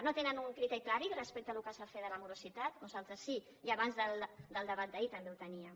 no tenen un criteri clar respecte al que s’ha de fer de la morositat nosaltres sí i abans del debat d’ahir també el teníem